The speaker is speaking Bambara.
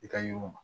I ka yiriw